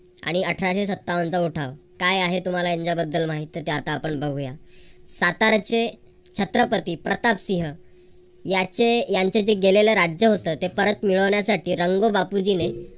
आणि अठराशे सत्तावनचा उठाव काय आहे तुम्हाला यांच्याबद्दल माहित तर ते आपण बघूया. सातारचे छत्रपती प्रतापसिंह याचे यांच जे गेलेलं राज्य होतं ते परत मिळवण्यासाठी रंग बापुजी ने